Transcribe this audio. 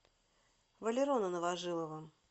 валерона новожилова